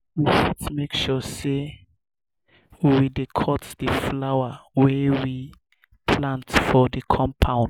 we fit make sure sey we dey cut di flowers wey we plant for di compound